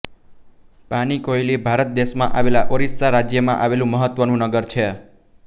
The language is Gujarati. પાનીકોઇલી ભારત દેશમાં આવેલા ઓરિસ્સા રાજ્યમાં આવેલું મહત્વનું નગર છે